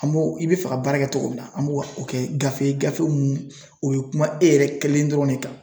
An b'o i bɛ fɛ ka baara kɛ cogo min na , an b'o kɛ gafe ye gafew mun o bɛ kuma e yɛrɛ kelen dɔrɔn de kan.